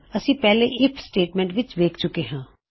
ਅਸੀਂ ਇਸਨੂੰ ਪਹਿਲੇ ਆਈਐਫ ਸਟੇਟਮੈਂਟ ਵਿੱਚ ਦੇਖ ਚੁਕੇ ਹਾਂ